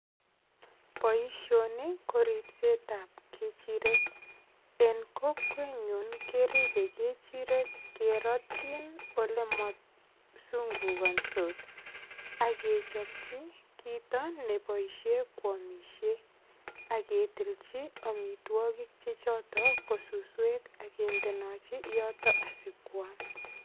Boishoni ko ripsetab kechirek en kokwenyun keribei kechirek kerotyin ole masungukonsot akechopchin kito neboishe kwomishei aketilji omitwokik che choto ko suswek akendenochi yoto asikwam